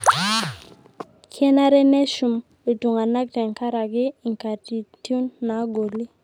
kenare neshum iltung'anak tenkaraki inkatitiun naagoli